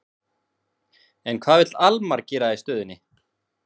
En hvað vill Almar gera í stöðunni?